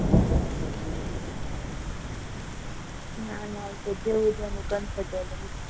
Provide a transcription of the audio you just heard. ના ના એ તો જેવું જેનું comfortable.